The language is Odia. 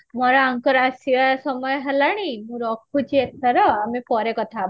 ମୋର ଆଙ୍କର ଆସିବା ସମୟ ହେଲାଣି ମୁଁ ରଖୁଛି ଏଥର ଆମେ ପରେ କଥା ହବା